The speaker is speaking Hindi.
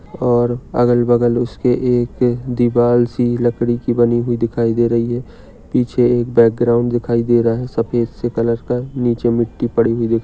और अगल-बगल उसके एक एक दीवार सी लकड़ी की बनी हुई दिखाई दे रही है पीछे एक बैकग्राउंड दिखाई दे रहा है। सफ़ेद से कलर का नीचे मिट्ठी पड़ी हुई--